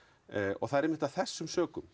og það er einmitt að þessum sökum